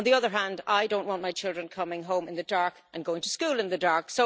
On the other hand, I do not want my children coming home in the dark and going to school in the dark'.